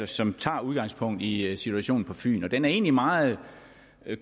som tager udgangspunkt i situationen på fyn den situation er egentlig meget